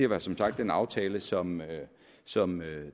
var som sagt den aftale som som